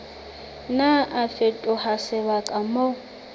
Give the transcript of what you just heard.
nna a fetoha sebaka moo